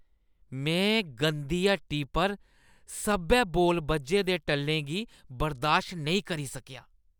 में गंदी हट्टी पर सब्भै बौल बज्झे दे टल्लें गी बर्दाश्त नेईं करी सकेआ।